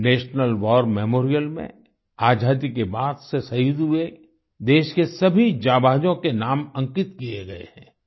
national war memorial में आज़ादी के बाद से शहीद हुए देश के सभी जाबांजों के नाम अंकित किए गए हैं